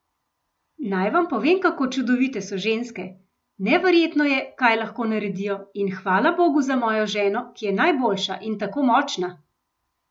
Naj vam povem, kako čudovite so ženske, neverjetno je, kaj lahko naredijo in hvala bogu za mojo ženo, ki je najboljša in tako močna!